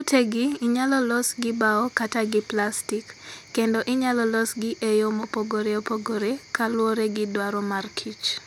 Utegi inyalo los gi bao kata gi plastik, kendo inyalo losgi e yo mopogore opogore kaluwore gi dwaro mar kich.